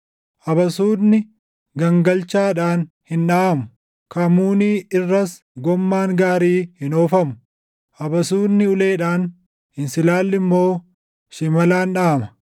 Abasuudni gangalchaadhaan hin dhaʼamu; kamuunii irras gommaan gaarii hin oofamu; abasuudni uleedhaan, insilaalli immoo shimalaan dhaʼama.